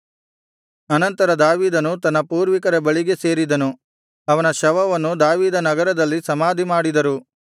ಅನಂತರ ದಾವೀದನು ತನ್ನ ಪೂರ್ವಿಕರ ಬಳಿಗೆ ಸೇರಿದನು ಅವನ ಶವವನ್ನು ದಾವೀದನಗರದಲ್ಲಿ ಸಮಾಧಿಮಾಡಿದರು